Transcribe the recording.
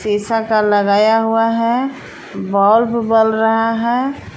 शीशा का लगाया हुआ है बल्ब बल रहा है।